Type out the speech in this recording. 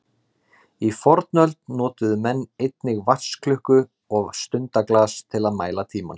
Í fornöld notuðu menn einnig vatnsklukku og stundaglas til að mæla tímann.